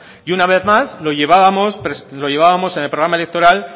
y una vez más lo llevábamos en el programa electoral